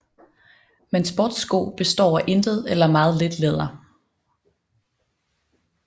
Men sportssko består af intet eller meget lidt læder